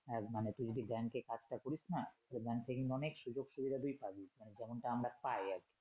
আহ মানে তুই যদি ব্যাংকে কাজটা করিস না তোর ব্যাংকে কিন্তু অনেক সুযোগ সুবিধা তুই পাবি মানে যেমন টা আমরা পাই আরকি